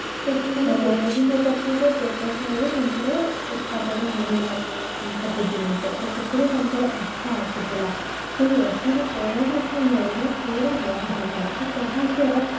ତ ସେମାନେ ବିଭିନ୍ନ ପ୍ରକାରର ବ୍ୟବସାୟ ବି ତାଙ୍କର ଉତ୍ପାଦନ ହଉଥିଲା ବହୁ ସବୁ ଜିନିଷ ତ ସେଥିରେ ତାଙ୍କର ଅର୍ଥ ଆସୁଥିଲା ସେଇ ଅର୍ଥର କୋରୋନା ସମୟରେ ନା ପୁରା ବନ୍ଦ ହେଇଗଲା ତ ଯାହା ଥିଲା